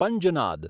Panjnad